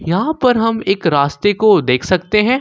यहां पर हम एक रास्ते को देख सकते हैं।